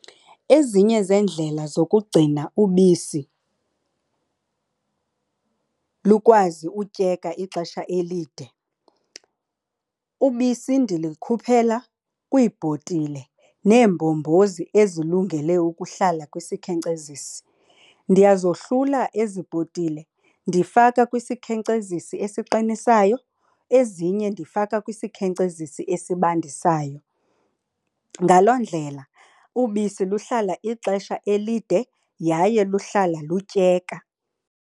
Ezinye zeendlela zokugcina ubisi lukwazi utyeka ixesha elide, ubisi ndilikhuphela kwiibhotile neembombozi ezilungele ukuhlala kwisikhenkcezisi. Ndiyazohlula ezi bhotile, ndifaka kwisikhenkcezisi esiqinisayo, ezinye ndifaka kwisikhenkcezisi esibandisayo. Ngaloo ndlela ubisi luhlala ixesha elide yaye luhlala lutyeka.